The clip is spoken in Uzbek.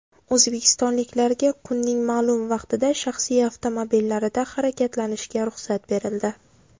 O‘zbekistonliklarga kunning ma’lum vaqtida shaxsiy avtomobillarida harakatlanishga ruxsat berildi.